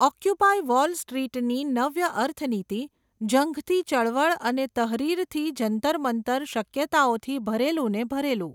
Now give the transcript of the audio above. Occupy wall street ની નવ્ય અર્થનીતિ, ઝંખતી ચળવળ અને તહરીરથી જંતરમંતર શક્યતાઓથી ભરેલું ને ભરેલું.